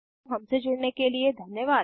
हमसे जुड़ने के लिए धन्यवाद